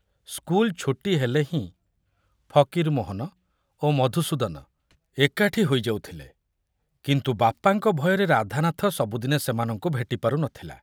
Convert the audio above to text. School ଛୁଟି ହେଲେ ହିଁ ଫକୀରମୋହନ ଓ ମଧୁସୂଦନ ଏକାଠି ହୋଇ ଯାଉଥିଲେ, କିନ୍ତୁ ବାପାଙ୍କ ଭୟରେ ରାଧାନାଥ ସବୁଦିନେ ସେମାନଙ୍କୁ ଭେଟି ପାରୁ ନଥିଲା।